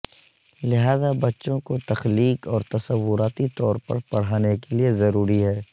لہذا بچوں کو تخلیق اور تصوراتی طور پر پڑھانے کے لئے ضروری ہے